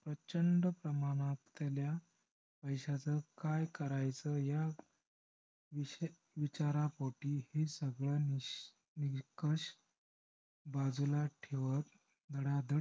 प्रचंड प्रमाणात असलेल्या पैश्याच काय करायचं वीच~विचारपोटी ही सगळं निश~निस्कर्ष बाजूला ठेवत धडा धड